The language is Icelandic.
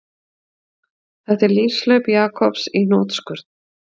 Þetta er lífshlaup Jakobs í hnotskurn